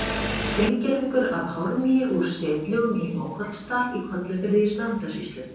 Steingervingur af hármýi úr setlögum í Mókollsdal í Kollafirði í Strandasýslu.